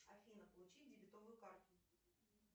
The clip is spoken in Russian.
афина получи дебетовую карту